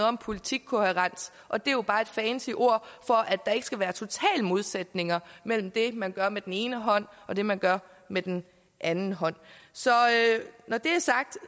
om politikkohærens og det er jo bare et fancy ord for at der ikke skal være total modsætning mellem det man gør med den ene hånd og det man gør med den anden hånd så når det er sagt